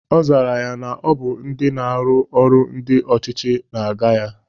Ọ zara ya na Ọ bụ ndị na-arụ ọrụ ndị ọchịchị na-aga ya